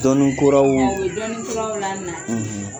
Dɔnnikuraw; A bɛ dɔnnikuralaw la na;